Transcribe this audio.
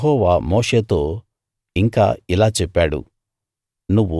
యెహోవా మోషేతో ఇంకా ఇలా చెప్పాడు